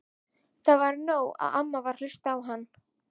Það var nóg að amma varð að hlusta á hann.